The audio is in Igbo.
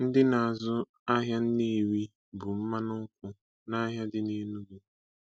Ndị na-azụ ahịa Nnewi bu mmanụ nkwụ nahịa dị nEnugu.